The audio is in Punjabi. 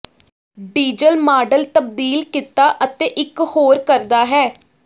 ਡੀਜ਼ਲ ਮਾਡਲ ਤਬਦੀਲ ਕੀਤਾ ਅਤੇ ਇਕ ਹੋਰ ਕਰਦਾ ਹੈ